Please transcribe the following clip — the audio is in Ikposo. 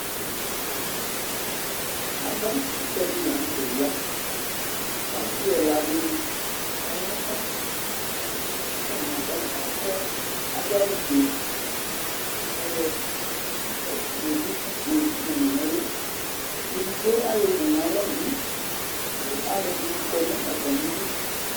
Avakʋtɛ dɩ la nʋ tɛ ya kʋ asɩ ɛla dɩnɩ, ayaba kʋ atanɩ aba akɔ adʋ awʋfue kʋ ayɔ ɛk dukufue yɔkɔdʋ nʋ ɛlʋ Edigbo ayɔwu nʋ alɔ bɩ kʋ alʋɛdɩnɩ kɔ nʋ atamɩdu